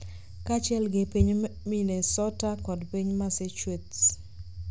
kaachiel gi piny Minnesota kod piny Massachusetts.